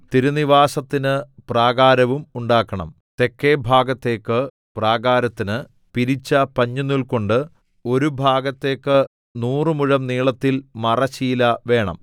തിരുനിവാസത്തിന് പ്രാകാരവും ഉണ്ടാക്കണം തെക്കെ ഭാഗത്തേക്ക് പ്രാകാരത്തിന് പിരിച്ച പഞ്ഞിനൂൽകൊണ്ട് ഒരു ഭാഗത്തേക്ക് നൂറ് മുഴം നീളത്തിൽ മറശ്ശീല വേണം